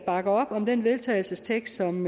bakker op om den vedtagelsestekst som